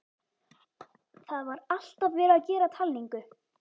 Það var alltaf verið að gera talningu.